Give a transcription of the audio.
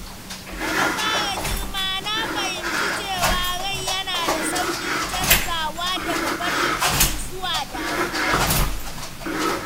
Da na fara girma, na fahimci cewa rai yana da sauƙin canzawa daga farin ciki zuwa damuwa.